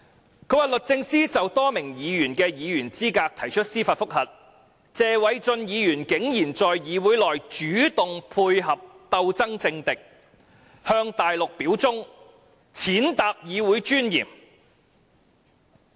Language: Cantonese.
他指出，"律政司就多名議員的議員資格提出司法覆核，謝偉俊議員竟然在議會內主動配合鬥爭政敵，向大陸表忠，踐踏議會尊嚴。